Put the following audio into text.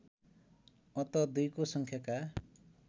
अत दुईको सङ्ख्याका